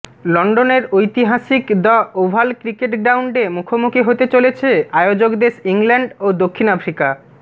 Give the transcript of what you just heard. লন্ডনের ঐতিহাসিক the Oval cricket গ্রাউন্ডে মুখোমুখি হতে চলেছে আয়োজক দেশ ইংল্যান্ড ও দক্ষিণ আফ্রিকা